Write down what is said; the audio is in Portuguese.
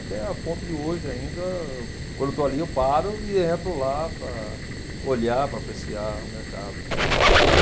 Até a ponto de hoje ainda, quando estou ali, eu paro e entro lá para olhar, para apreciar o mercado, tal.